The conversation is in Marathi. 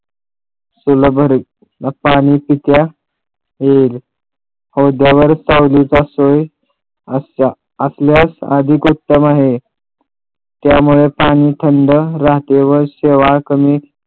चूला भरेल मग पाणी पित्या येईल आहे त्यामुळे पाणी थंड राहते व शेवाळ कमी